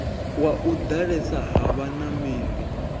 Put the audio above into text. wa u ḓalesa ha vhanameli